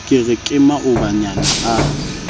ke re ke maobanyana a